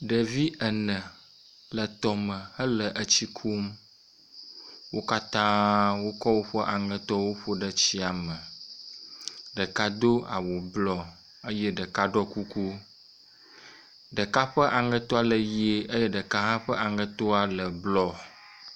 Ɖevi ene le tɔme hele etsi kum. Wo katã wokɔ woƒe aŋetowo ƒo ɖe tsia me. Ɖeka do awu blɔ eye ɖeka ɖɔ kuku. Ɖeka ƒe aŋetoa le ʋie eye ɖeka hã ƒe aŋetoa le blɔ.